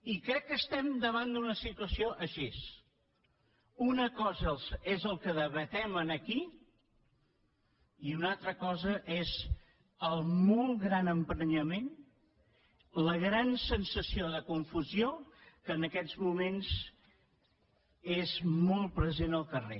i crec que estem davant d’una situació així una cosa és el que debatem aquí i una altra cosa és el molt gran emprenyament la gran sensació de confusió que en aquests moments és molt present al carrer